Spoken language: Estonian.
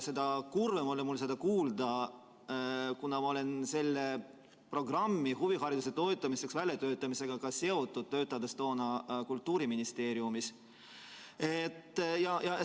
Kuna ma olin selle huvihariduse toetamiseks mõeldud programmi väljatöötamisega seotud – ma töötasin toona Kultuuriministeeriumis –, siis seda kurvem oli mul seda kuulda.